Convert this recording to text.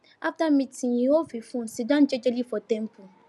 after meeting e off him phone siddon jejely for temple